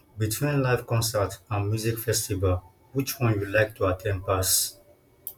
between live concert and music festival which one you like to at ten d pass